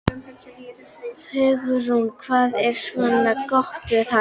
Hugrún: Hvað er svona gott við hana?